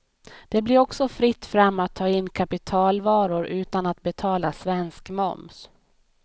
Det blir också fritt fram att ta in kapitalvaror utan att betala svensk moms.